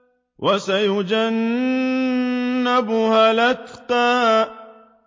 وَسَيُجَنَّبُهَا الْأَتْقَى